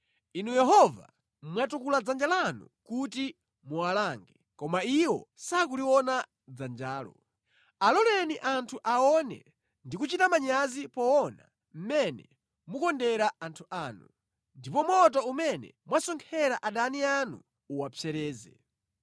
Inu Yehova, mwatukula dzanja lanu kuti muwalange, koma iwo sakuliona dzanjalo. Aloleni anthu aone ndi kuchita manyazi poona mmene mukondera anthu anu; ndipo moto umene mwasonkhera adani anu uwapsereze.